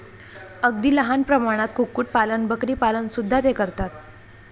अगदी लहान प्रमाणात कुक्कुट पालन, बकरीपालन सुद्धा ते करतात.